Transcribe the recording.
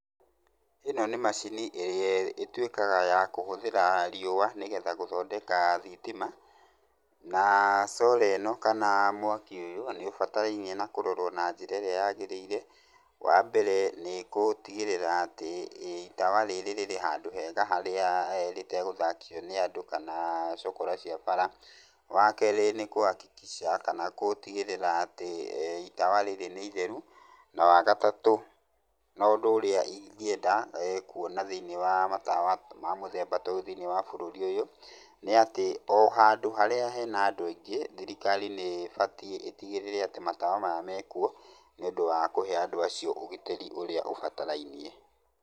Ino nĩ macini ĩrĩa ĩtuĩkaga ya kũhũthĩra riũa, nĩgetha gũthondeka thitima, na solar ĩno, kana mwaki ũyũ, nĩũbatarainie na kũrorwo na njĩra ĩrĩa yagĩrĩire, wa mbere nĩgũtigĩrĩra atĩ itawa rĩrĩa rĩrĩ handũ hega, harĩa rĩtagũthakio nĩ andũ ,kana cũkũra cia bara. Wakerĩ nĩgũtigĩrĩra atĩ itawa rĩrĩa nĩ itheru. Na wagatatũ, na ũndũ ũrĩa ingĩenda kuona thĩiniĩ wa matawa ,ma mũthemba ta ũyũ thĩiniĩ wa bũrũri ũyũ, nĩ atĩ o handũ harĩa hena andũ aingĩ, thirikari nĩ ĩbatiĩ ĩtigĩrĩre atĩ matawa maya mekuo, nĩ ũndũ wa kũhe andũ acio ũgitĩri ũrĩa ũbatarainie.